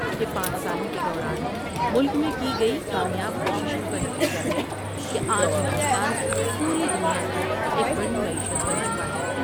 کہ پانچ سالوں کے دوران ملک میں کی گئی کامیاب کوششوں کا نتیجہ ہے کہ آج ہندوستان پوری دنیا کی ایک بڑی معیشت بن چکا ہے ۔